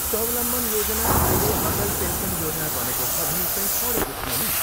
स्वावलम्बन योजना अहिले अटल पेन्सन योजना बनेको छ भनी कहीँ पढेको थिएँ नि?